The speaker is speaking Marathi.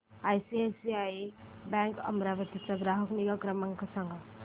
आयसीआयसीआय बँक अमरावती चा ग्राहक निगा क्रमांक सांगा